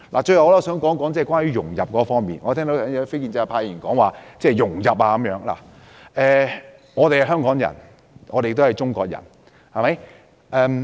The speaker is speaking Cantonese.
最後，我想談談融入方面，我剛才聽到有非建制派議員提到融入，我們是香港人，也是中國人。